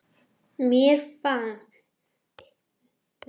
Mér finnst það ekki